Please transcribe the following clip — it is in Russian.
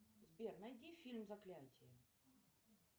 сбер найди фильм заклятие